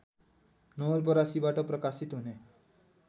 नवलपरासीबाट प्रकाशित हुने